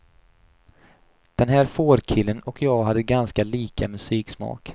Den här fårkillen och jag hade ganska lika musiksmak.